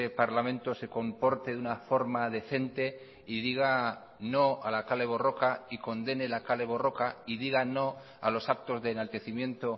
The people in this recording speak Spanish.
parlamento se comporte de una forma decente y diga no a la kale borroka y condene la kale borroka y diga no a los actos de enaltecimiento